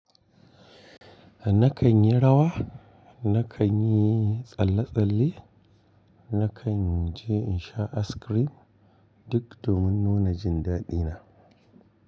Nakan yi rawa, nakan yi tsalle-tsalle, nakan je in sha ice cream duk domin nuna jin daɗina.